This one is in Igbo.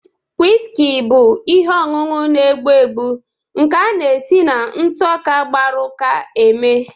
Wiski bụ ihe ọṅụṅụ na-egbu egbu nke a na-esi na ntụ ọka gbaru uka eme.